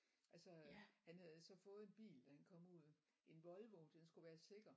Altså han havde jo så fået en bil da han kom ud en Volvo for den skulle være sikker